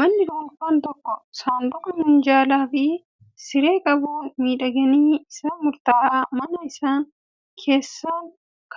Manni dhuunfaan tokko saanduqa, minjaalaa fi siree qabuun miidhaginni isaa murtaa'a. Manni kun isaan